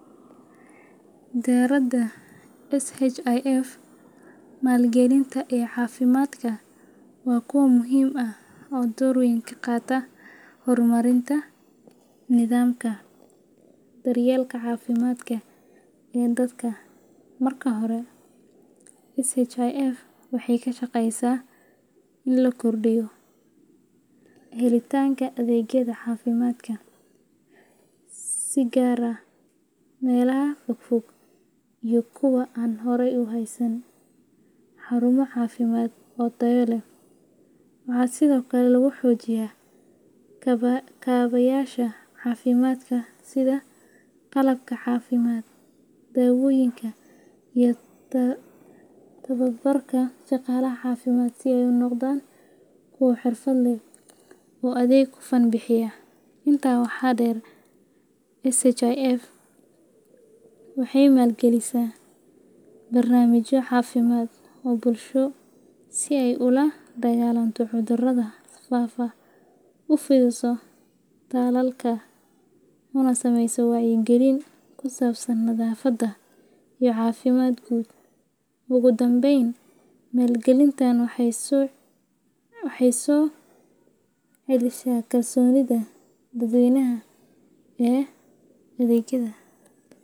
Dararada SHIF maalgelinta ee caafimaadka waa kuwo muhiim ah oo door weyn ka qaata horumarinta nidaamka daryeelka caafimaadka ee dalka. Marka hore, SHIF waxay ka shaqaysaa in la kordhiyo helitaanka adeegyada caafimaadka, si gaar ah meelaha fogfog iyo kuwa aan horey u haysan xarumo caafimaad oo tayo leh. Waxaa sidoo kale lagu xoojiyaa kaabayaasha caafimaadka sida qalabka caafimaad, daawooyinka, iyo tababarida shaqaalaha caafimaad si ay u noqdaan kuwo xirfad leh oo adeeg hufan bixiya. Intaa waxaa dheer, SHIF waxay maalgelisaa barnaamijyo caafimaad oo bulsho si ay ula dagaalanto cudurrada faafa, u fidiso tallaalka, una sameyso wacyigelin ku saabsan nadaafadda iyo caafimaadka guud. Ugu dambeyn, maalgelintan waxay soo celisaa kalsoonida dadweynaha ee adeegyada.